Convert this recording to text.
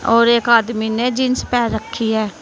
और एक आदमी ने जींस पहन रखी है।